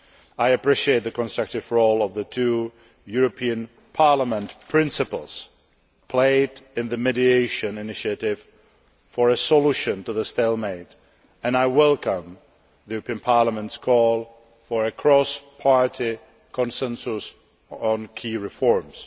I appreciate the constructive role of the two Parliament principles played in the mediation initiative for a solution to the stalemate and I welcome Parliament's call for a cross party consensus on key reforms.